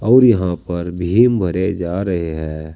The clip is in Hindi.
और यहां पर भीम भरे जा रहे हैं।